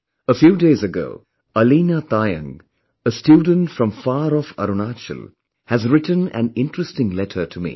A few days ago, Aleena Taayang, a student from far off Arunachal has written an interesting letter to me